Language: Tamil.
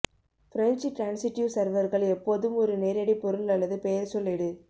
பிரஞ்சு டிரான்சிடிவ் சர்வர்கள் எப்போதும் ஒரு நேரடி பொருள் அல்லது பெயர்ச்சொல் எடு